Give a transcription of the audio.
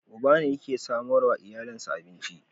Uba ne yake samarwa iyalansa abinci.